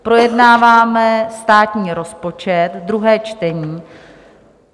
Projednáváme státní rozpočet, druhé čtení.